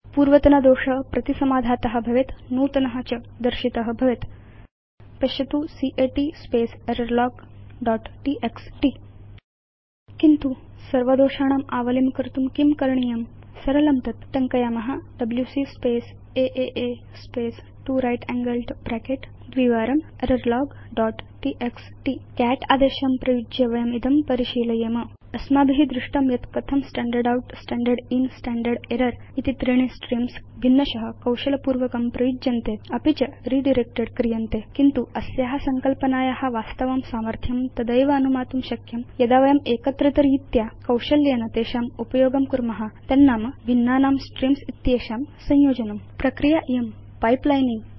पूर्वतन दोष प्रतिसमाधात भवेत् नूतन च दर्शित भवेत् पश्यतु cat space error log dot TXT किन्तु सर्वदोषाणाम् आवलिं कर्तुं किं करणीयम् सरलं तत् टङ्कयाम WC space a space 2 right angled bracket twice error log dot TXT cat आदेशम् उपयुज्य वयम् इदं परिशीलयेम अस्माभि दृष्टं यत् कथं स्टैण्डर्ड् outस्टैण्डर्ड् inस्टैण्डर्ड् एरर् इति त्रीणि स्ट्रीम्स् भिन्नश कौशलपूर्वकं प्रयुज्यन्ते अपि च रिडायरेक्टेड् क्रियन्ते किन्तु अस्या संकल्पनाया वास्तवं सामर्थ्यं तदैव अनुमातुं शक्यं यदा वयं एकत्रितरीत्या कौशल्येन तेषाम् उपयोगं कुर्म तन्नाम भिन्नानां स्ट्रीम्स् इत्येषां संयोजनम् एषा प्रक्रिया पाइपलाइनिंग